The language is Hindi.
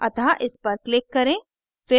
अतः इस पर click करें